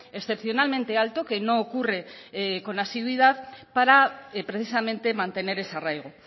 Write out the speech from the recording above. excepcionalmente alto que no ocurre con asiduidad para precisamente mantener ese arraigo